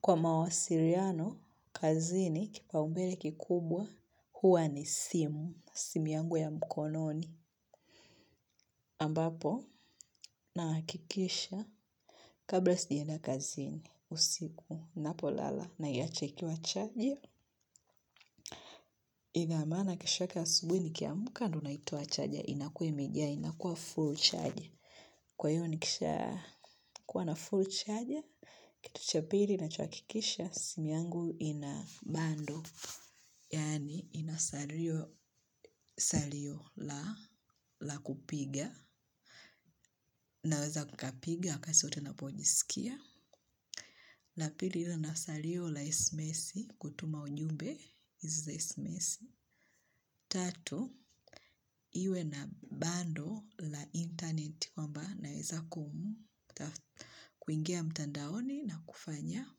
Kwa mawasiliano, kazini, kipa umbele kikubwa, huwa ni simu, simu yangu ya mkononi. Ambapo, nahakikisha, kabla sijaenda kazini, usiku, ninapo lala, naiacha ikiwa charging ina maana kesho yake asubuhi nikiamka, ndo naitoa chaja, inakuwa imejaa, inakuwa full chaja. Kwa hiyo, nikisha kuwa na full chaja, kitu cha pili, ninachohakikisha, simu yangu ina bando. Yaani ina salio la kupiga naweza nikapiga wakati wote ninapojisikia. La pili iwe na salio la esemesibkutuma ujumbe hizi za esemesi. Tatu, iwe na bando la internet kwamba naweza kuingia mtandaoni na kufanya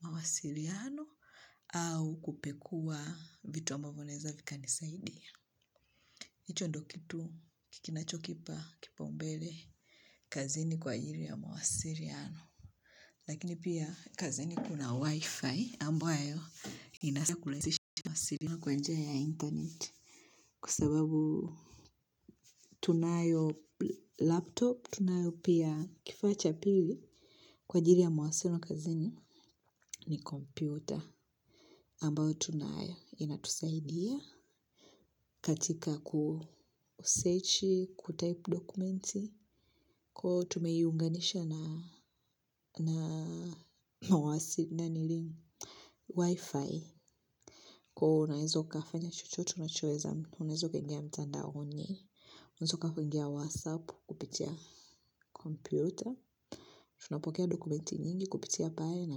mawasiliano au kupekua vitu ambavyo naweza vikanisaidia. Hicho ndo kitu kinachokipa kipaumbele kazini kwa ajili ya mawasiliano. Lakini pia kazini kuna wifi ambayo inaweza kurahisisha mawasiliano kwa njia ya internet. Kwa sababu tunayo laptop tunayo pia kifaa cha pili kwa ajili ya mawasiliano kazini ni kompyuta. Ambayo tunayo inatusaidia katika kusachi, kutaipu dokumenti, kwa hiyo tumeiunganisha na wifi, kwa hiyo unaweza ukafanya chochote unachoweza unaweza ukaingia mtandaoni, unaweza ukaingia whatsapp, kupitia kompyuta, tunapokea dokumenti nyingi kupitia pale na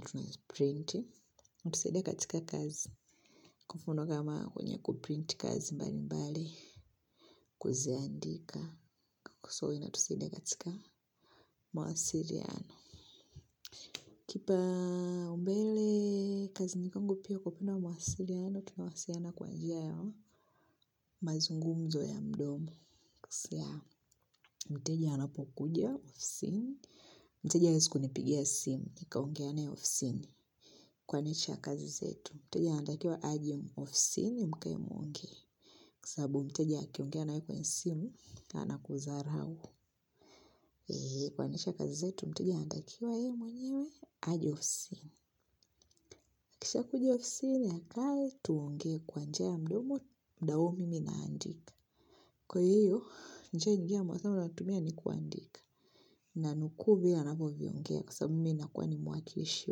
tunaziprinti, imetusaidia katika kazi kwa mfano kama kwenye kuprinti kazi mbali mbali kuziandika. Inatusaidia katika mawasiliano. Kipaumbele kazini kwangu pia kwa upande wa mawasiliano tunawasiliana kwa njia ya mazungumzo ya mdomo. Mteja anapokuja ofisini. Mteja hawezi kunipigia simu nikaongea naye ofisini kuanisha kazi zetu. Mteja anatakiwa aje ofisini mkae muongee sababu mteja akiongea na wewe kwenye simu, anakudharau. Kuanzisha kazi zetu, mteja anatakiwa yeye mwenyewe, aje ofisini. Akisha kuja ofisini akae, tuongee kwa njia ya mdomo, muda huo mimi naandika. Kwa hiyo, njia ingine ya mawasiliano tunayotumia ni kuandika. Nanukuu vile anavyoviongea kwa sababu mi nakuwa ni mwakilishi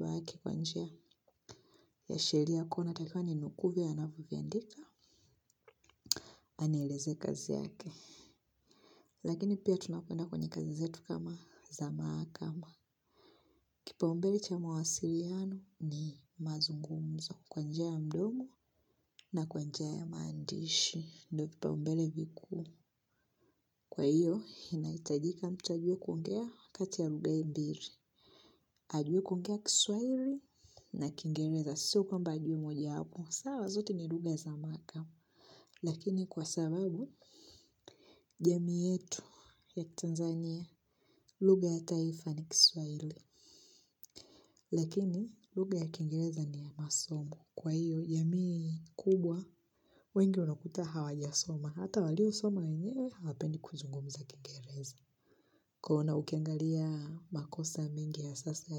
wake ya sheria kuona ataifanya ninukuu vile anavyoviandika, anilezee kazi yake. Lakini pia tunapenda kufanya kazi zetu kama za mahakama, kipaumbele cha mawasiliano ni mazungumzo kwa njia ya mdomo na kwa njia ya maandishi, ndio vipaumbele vikuu kwa hiyo, inahitajika mtajua kuongea kati ya lugha hii mbili. Ajue kuongea kiswahili na kingereza sio kwamba ajue moja wapo sawa zote ni lugha za mahakama lakini kwa sababu, jamii yetu ya Tanzania. Lugha ya taifa ni kiswahili lakini, lugha ya kiingereza ni ya masomo kwa hiyo, jamii kubwa wengi wanakuta hawajasoma hata walio soma yenyewe, hawapendi kuzungumza kingereza kwa ona ukiangalia makosa mengi ya sasa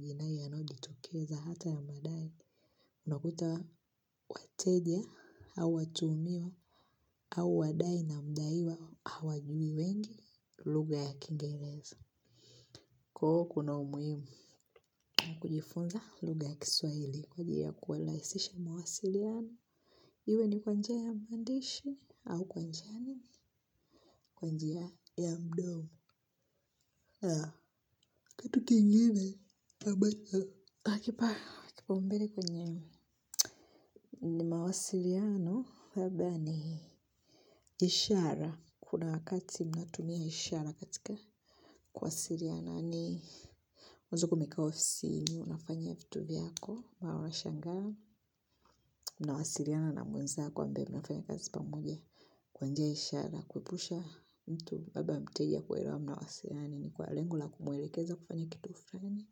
yanayojitokeza hata ya madai, unakuta wateja au watuumiwa au wadai na mdaiwa hawajui wengi lugha ya kiingereza. Kwa hiyo kuna umuhimu, kujifunza lugha ya kiswahili kwa ajili ya kurahisisha mawasiliano. Iwe ni kwa njia ya maandishi au kwa njia ya mdomo kitu ingine, twakipa, kipaumbele kwenye mawasiliano, labda ni ishara. Kuna wakati mnatumia ishara katika kuwasiliana. Ni unaweza kuwa umekaa ofisini unafanya vitu vyako, na washangaa. Mnawasiliana na mwenzako ambaye, mnafanya kazi pamoja. Kwa njia ya ishara, kuepusha mtu labda mteja kuelewa mnawasiliana nini. Kwa lengo la kumuelekeza kufanya kitu fulani,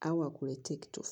au akuletee kitu.